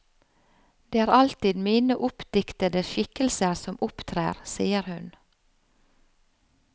Det er alltid mine oppdiktede skikkelser som opptrer, sier hun.